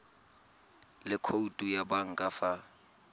le khoutu ya banka fa